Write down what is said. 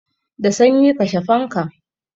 Da sanyi, kashe fankan!